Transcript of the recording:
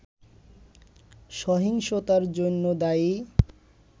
সহিংসতার জন্য দায়ী